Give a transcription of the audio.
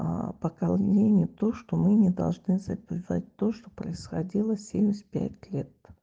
поклонение то что мы не должны забывать то что происходило семьдесят пять лет